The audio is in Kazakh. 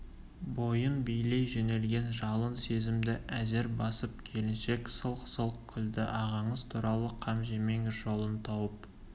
бойын билей жөнелген жалын сезімді әзер басып келіншек сылқ-сылқ күлді ағаңыз туралы қам жемеңіз жолын тауып